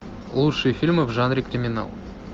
лучшие фильмы в жанре криминал